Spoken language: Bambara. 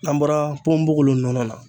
N'an bɔra ponbogolo nɔnɔ na.